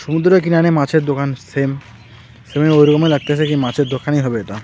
সমুদ্রের কিনারে মাছের দোকান সেম সেরকম ঐরকমই লাগতেসে কি মাছের দোকানই হবে এটা.